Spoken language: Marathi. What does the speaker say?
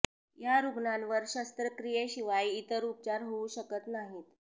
या रुग्णांवर शस्त्रक्रियेशिवाय इतर उपचार होऊ शकत नाहीत